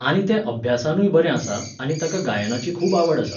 आनी तें अभ्यासानूय बरें आसा आनी ताका गायनाचीय खूब आवड आसा.